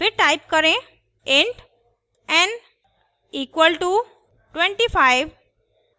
फिर type करें int n = 25;